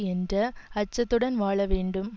என்ற அச்சத்துடன் வாழ வேண்டும்